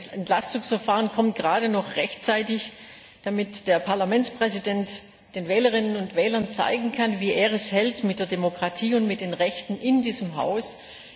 Dieses Entlastungsverfahren kommt gerade noch rechtzeitig, damit der Parlamentspräsident den Wählerinnen und Wählern zeigen kann, wie er es mit der Demokratie und mit den Rechten in diesem Haus hält.